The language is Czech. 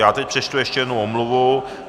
Já teď přečtu ještě jednu omluvu.